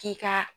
K'i ka